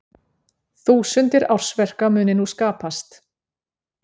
Þúsundir ársverka muni nú skapast